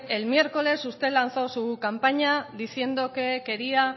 el miércoles usted lanzó su campaña diciendo que quería